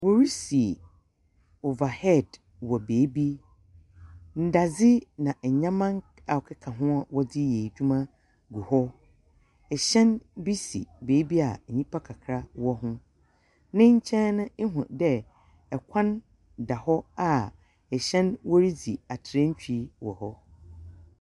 Wɔresi ovahɛd wɔ baabi. Ndadze na nyɛma a ɔkeka ho a wɔdze yɛ edwuma gu hɔ. Ehyɛn bi si baabi a nyipa kakra wɔ hɔ. N'enkyɛn no ehu dɛ ɛkwan kakra da hɔ a ɛhyɛn wodzi atrantwie wɔ hɔ.